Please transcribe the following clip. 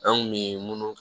An kun mi munnu